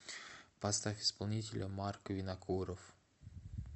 поставь исполнителя марк винокуров